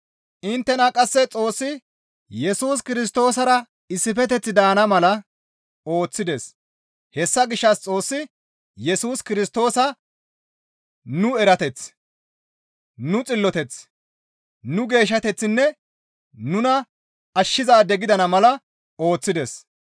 Inttena qasse Xoossi Yesus Kirstoosara issifeteththi daana mala ooththides; hessa gishshas Xoossi Yesus Kirstoosa nu erateth, nu xilloteth, nu geeshshateththinne nuna ashshizaade gidana mala ooththides.